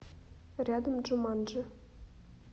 рядом джуманджи